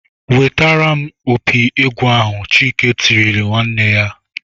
"Wetere m opi egwu ahụ!" Chike tirile nwanne ya.